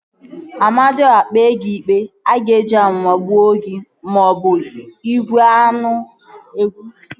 Amadiọha kpee gị ikpe, ọ ga-eji amụma gbuo gị maọbụ igwe aṅụ ebuso gị agha